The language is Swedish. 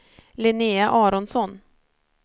Linnea Aronsson